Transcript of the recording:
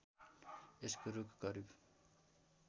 यसको रूख करिब